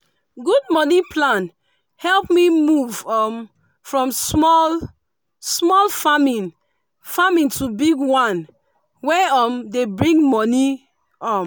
good money plan help me move um from small-small farming farming to big one wey um dey bring money. um